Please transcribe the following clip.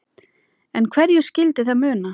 En hverju skyldi það muna?